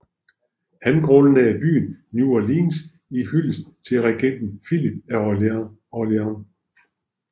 Han grundlagde byen New Orleans i hyldest til regenten Filip af Orléans